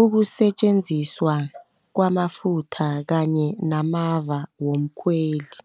Ukusetjenziswa kwamafutha kanye namava womkhweli.